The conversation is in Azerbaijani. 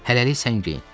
Hələlik sən geyin.